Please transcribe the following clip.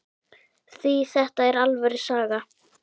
Því þetta er alvöru saga.